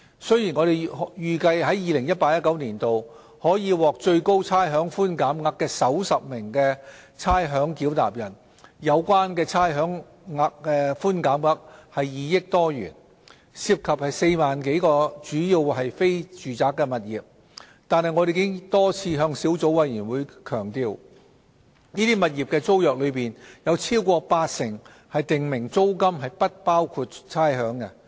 雖然我們預計在 2018-2019 年度可獲最高差餉寬減額的首10位差餉繳納人，有關的差餉寬減額為2億多元，涉及4萬多個主要為非住宅的物業，但我們已多次向小組委員會強調，這些物業的租約當中，有超過八成訂明租金是不包含差餉的。